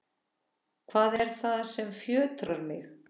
Hvað er það sem fjötrar mig?